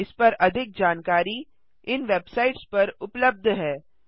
इस पर अधिक जानकारी इन वेबसाइट्स पर उबलब्ध है